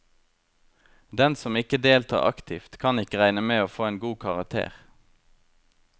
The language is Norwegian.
Den som ikke deltar aktivt, kan ikke regne med å få en god karakter.